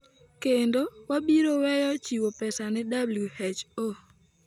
"kendo wabiro weyo chiwo pesa ne WHO."